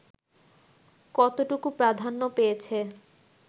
কতটুকু প্রাধান্য পেয়েছে